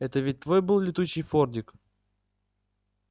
это ведь твой был летучий фордик